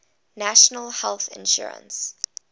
national health insurance